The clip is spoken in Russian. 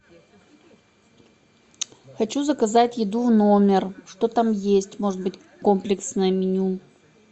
хочу заказать еду в номер что там есть может быть комплексное меню